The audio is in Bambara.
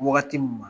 Wagati min na